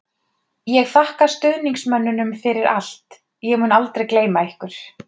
Ég þakka stuðningsmönnunum fyrir allt, ég mun aldrei gleyma ykkur.